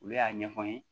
Olu y'a ɲɛfɔ n ye